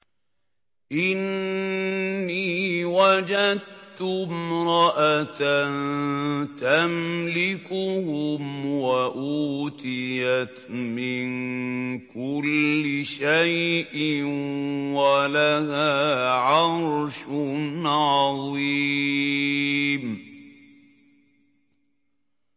إِنِّي وَجَدتُّ امْرَأَةً تَمْلِكُهُمْ وَأُوتِيَتْ مِن كُلِّ شَيْءٍ وَلَهَا عَرْشٌ عَظِيمٌ